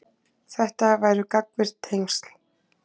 Þetta væru gagnvirk tengsl.